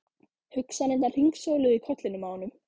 Hugsanirnar hringsóluðu í kollinum á honum.